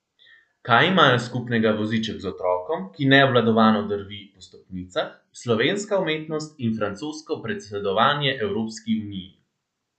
Kaj imajo skupnega voziček z otrokom, ki neobvladovano drvi po stopnicah, slovenska umetnost in francosko predsedovanje Evropski uniji?